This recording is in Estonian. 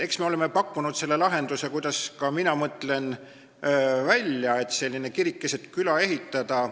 Eks me oleme pakkunud välja selle lahenduse, kuidas ka mina mõtlen, et kirik keset küla ehitada.